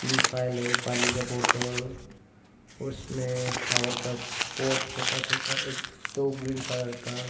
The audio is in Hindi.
तीन फाइल है एक पानी का बॉटल उसमें फ्लावर का पॉट छोटा छोटा एक दो ग्रीन कलर का।